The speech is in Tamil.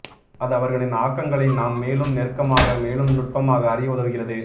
அது அவர்களின் ஆக்கங்களை நாம் மேலும் நெருக்கமாக மேலும் நுட்பமாக அறிய உதவுகிறது